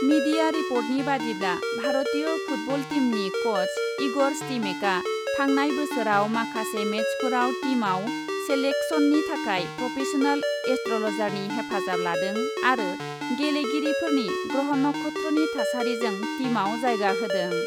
Media रिपर्टनि बादिब्ला , भारतीय फुटबल टीमनि कच इगर स्टिमेकआ थांनाय बोसोराव माखासे मेचफोराव टीमआव सेलेक्सननि थाखाय प्रफेसनेल एस्ट्रलजारनि हेफाजाब लादों आरो गेले गिरिफोरनि ग्रह नक्षत्रनि थासारिजों टीमआव जायगा होदों ।